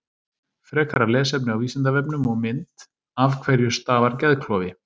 Frekara lesefni á Vísindavefnum og mynd Af hverju stafar geðklofi?